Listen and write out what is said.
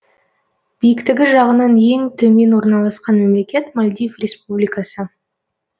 биіктігі жағынан ең төмен орналасқан мемлекет мальдив республикасы